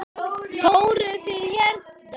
Fóruð þið hérna?